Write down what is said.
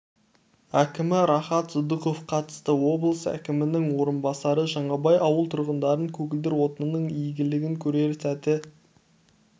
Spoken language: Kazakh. әкімі рахат сыдықов қатысты облыс әкімінің орынбасары жаңабай ауыл тұрғындарын көгілдір отынның игілігін көрер сәтті